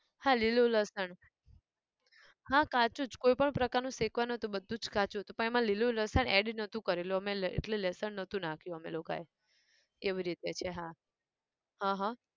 હા લીલું લસણ, હા કાચું જ, કોઈ પણ પ્રકાર નું શેકવાનું નહોતું, બધું જ કાચું હતું પણ એમાં લીલું લસણ add નહોતું કરેલું અમે લે એટલે લસણ નહોતું નાખ્યું અમે લોકાએ, એવી રીતે છે હા, હં હઃ